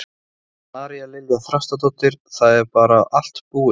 María Lilja Þrastardóttir: Það er bara allt búið?